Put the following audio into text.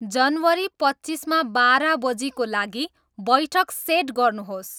जनवरी पच्चीसमा बाह्र बजीको लागि बैठक सेट गर्नुहोस्